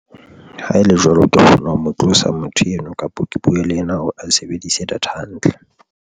Ha ele jwalo, ke kgona ho mo tlosa motho eno kapa ke buwe le yena hore a sebedise data hantle.